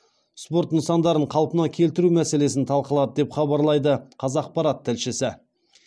спорт нысандарын қалпына келтіру мәселесін талқылады деп хабарлайды қазақпарат тілшісі